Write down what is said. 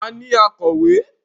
A ní akọ̀wé.